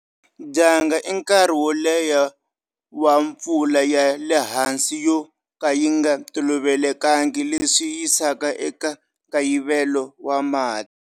Dyandza i nkarhi wo leha wa pfula ya le hansi yo ka yi nga tolovelekangi leswi yisaka eka nkayivelo wa mati.